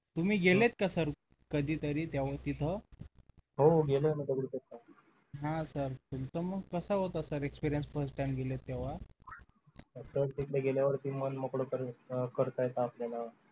तुम्ही गेलेत का sir कधी तरी तिथं हो गेलो होतो दगडूशेठ ला हा sir तुमचा मग कसा होता sir experience first time गेले तेव्हा असं तिथे गेल्यावर मन मोकळं करता येत आपल्याला